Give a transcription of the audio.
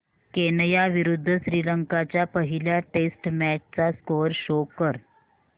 Kenya विरुद्ध श्रीलंका च्या पहिल्या टेस्ट मॅच चा स्कोअर शो कर